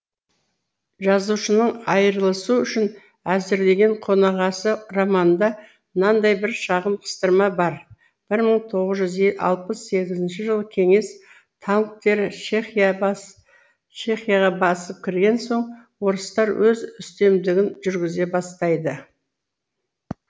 жазушының айырылысу үшін әзірленген қонағасы романында мынадай бір шағын қыстырма бар бір мың тоғыз жүз алпыс сегізінші жылы кеңес танктері чехияға басып кірген соң орыстар өз үстемдігін жүргізе бастайды